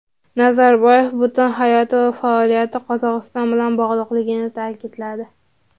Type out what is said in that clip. Nazarboyev butun hayoti va faoliyati Qozog‘iston bilan bog‘liqligini ta’kidladi.